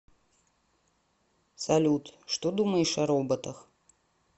салют что думаешь о роботах